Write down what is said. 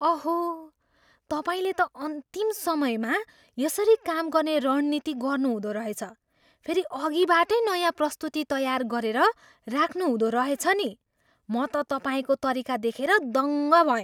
अहो! तपाईँले त अन्तिम समयमा यसरी काम गर्ने रणनीति गर्नुहुँदो रहेछ। फेरि अघिबाटै नयाँ प्रस्तुती तयार गरेर राख्नुहुँदो रहेछ नि। म त तपाईँको तरिका देखेर दङ्ग भएँ।